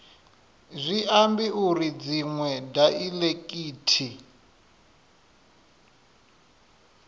zwi ambi uri dziṅwe daiḽekithi